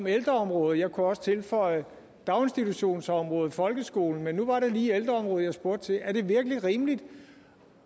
ældreområdet jeg kunne også tilføje daginstitutionsområdet og folkeskolen men nu var det lige ældreområdet jeg spurgte til er det virkelig rimeligt